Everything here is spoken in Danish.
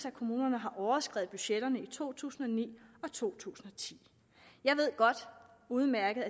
at kommunerne har overskredet budgetterne i to tusind og ni og to tusind og ti jeg ved udmærket